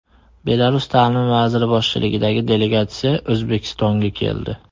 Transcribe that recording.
Belarus ta’lim vaziri boshchiligidagi delegatsiya O‘zbekistonga keldi.